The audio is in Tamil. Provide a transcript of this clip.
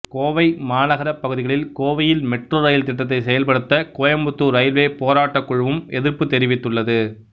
கோவை மாநகரப்பகுதிகளில் கோவையில் மெட்ரோ ரயில் திட்டத்தை செயல்படுத்த கோயம்புத்தூர் ரயில்வே போராட்டக் குழுவும் எதிர்ப்பு தெரிவித்துள்ளது